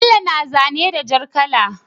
Bello yana zane da jar kala